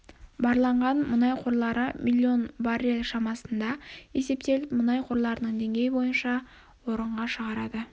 барланған мұнай қорлары миллион баррель шамасында есептеліп елді мұнай қорларының деңгейі бойынша орынға шығарады